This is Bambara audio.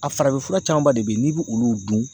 A farafinfura camanba de be ye n'i bi olu dun